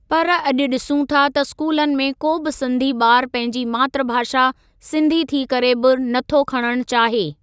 पर अॼु ॾिसूं था त स्कूलनि में को बि सिंधी ॿारु पंहिंजी मातृभाषा सिंधी थी करे बि नथो खणणु चाहे।